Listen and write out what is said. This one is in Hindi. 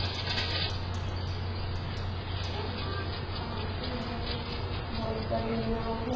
और झील के पानी के अन्दर एक बोहोत बड़ी नाव है।